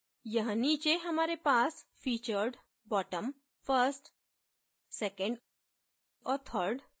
यहाँ नीचे हमारे पास featured bottom first second और third